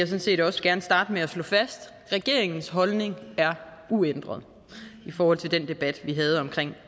set også gerne starte med at slå fast at regeringens holdning er uændret i forhold til den debat vi havde om